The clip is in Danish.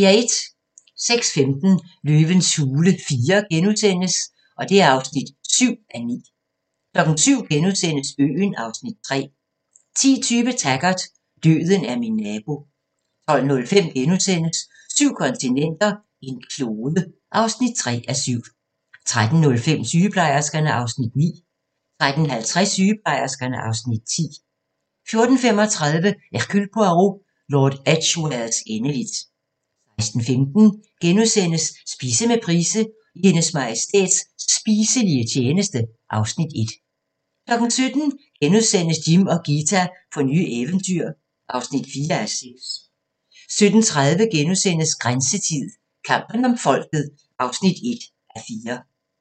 06:15: Løvens hule IV (7:9)* 07:00: Øen (Afs. 3)* 10:20: Taggart: Døden er min nabo 12:05: Syv kontinenter, en klode (3:7)* 13:05: Sygeplejerskerne (Afs. 9) 13:50: Sygeplejerskerne (Afs. 10) 14:35: Hercule Poirot: Lord Edgwares endeligt 16:15: Spise med Price – I Hendes Majestæts spiselige tjeneste (Afs. 1)* 17:00: Jim og Ghita på nye eventyr (4:6)* 17:30: Grænseland - Kampen om folket (1:4)*